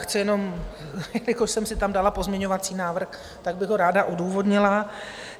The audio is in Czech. Chci jenom, jelikož jsem si tam dala pozměňovací návrh, tak bych ho ráda odůvodnila.